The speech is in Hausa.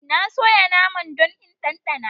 Na soya naman don in ɗanɗana.